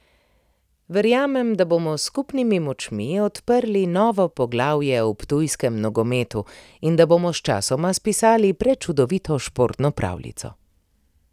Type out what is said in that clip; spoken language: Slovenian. Verjamem, da bomo s skupnimi močmi odprli novo poglavje v ptujskem nogometu in da bomo sčasoma spisali prečudovito športno pravljico.